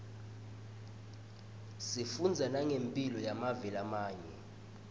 sifundza nangemphilo yemave lamanye